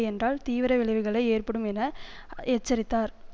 என்றால் தீவிர விளைவுகள் ஏற்படும் என எச்சரித்தார்